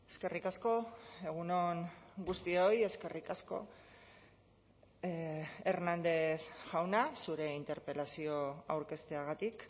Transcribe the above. eskerrik asko egun on guztioi eskerrik asko hernández jauna zure interpelazio aurkezteagatik